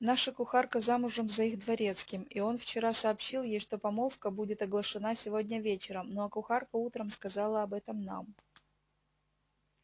наша кухарка замужем за их дворецким и он вчера сообщил ей что помолвка будет оглашена сегодня вечером ну а кухарка утром сказала об этом нам